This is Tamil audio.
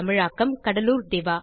இதற்கு தமிழாக்கம் கடலூர் திவா